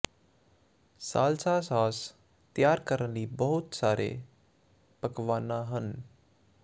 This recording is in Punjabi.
ਸਾਲਸਾ ਸਾਸ ਤਿਆਰ ਕਰਨ ਲਈ ਬਹੁਤ ਸਾਰੇ ਪਕਵਾਨਾ ਹਨ